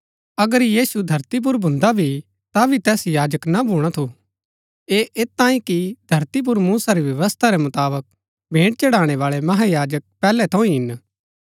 अगर यीशु धरती पुर भुन्दा भी ता भी तैस याजक ना भूणा थू ऐह ऐत तांई कि धरती पुर मूसा री व्यवस्था रै मुताबक भेंट चढ़ाणै बाळै महायाजक पैहलै थऊँ ही हिन